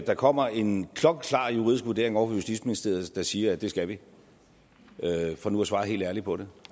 der kommer en klokkeklar juridisk vurdering ovre fra justitsministeriet der siger at det skal vi for nu at svare helt ærligt på det